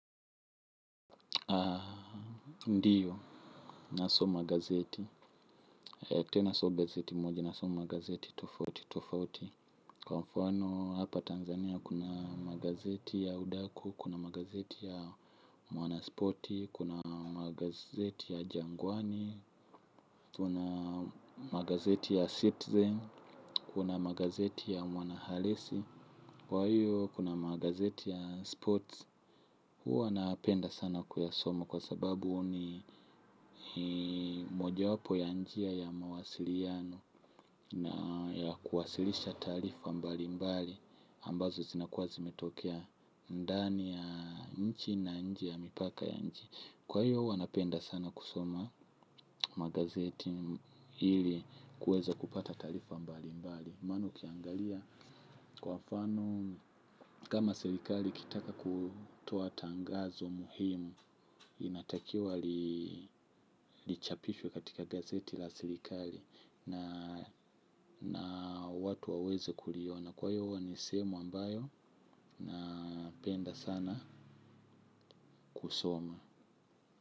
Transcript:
Ndiyo nasoma gazeti. Tena sio gazeti moja nasoma gazeti tofauti. Kwa mfano hapa Tanzania kuna magazeti ya udaku. Kuna magazeti ya mwana sporti. Kuna magazeti ya jangwani. Kuna magazeti ya citizen. Kuna magazeti ya mwana halisi. Kwa hiyo kuna magazeti ya sports. Huwa napenda sana kuyasoma kwa sababu ni moja wapo ya njia ya mawasiliano na ya kuwasilisha taarifa mbali mbali ambazo zinakuwa zimetokea ndani ya nchi na nje ya mipaka ya nji. Kwa hiyo huwa napenda sana kusoma magazeti ili kuweza kupata taarifa mbalimbali. Maana ukiangalia kwa mfano kama serikali ikitaka kutoa tangazo muhimu inatakiwa lichapishwe katika gazeti la serikali. Na watu waweze kuliona kwa hivyo huwa ni sehemu ambayo napenda sana kusoma.